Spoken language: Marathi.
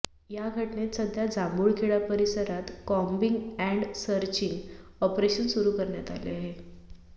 या घटनेत सध्या जांमूळखेडा परिसरात कोम्बिंग अँड सर्चिंग ऑपरेशन सुरु करण्यात आले आहे